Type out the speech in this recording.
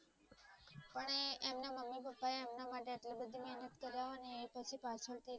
આપણા માટે આટલી બધી મહેનત કરવાની એ પછી પાછળ થી